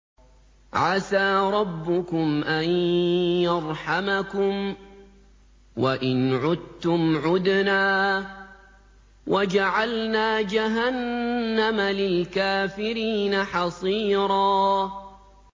عَسَىٰ رَبُّكُمْ أَن يَرْحَمَكُمْ ۚ وَإِنْ عُدتُّمْ عُدْنَا ۘ وَجَعَلْنَا جَهَنَّمَ لِلْكَافِرِينَ حَصِيرًا